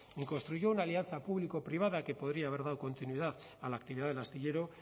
ni construyó una alianza público privada que podría haber dado continuidad a la actividad del astillero